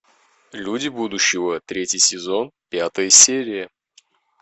люди будущего третий сезон пятая серия